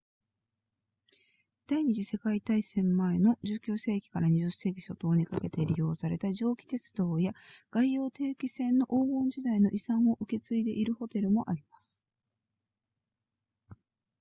第二次世界大戦前の19世紀から20世紀初頭にかけて利用された蒸気鉄道や外洋定期船の黄金時代の遺産を受け継いでいるホテルもあります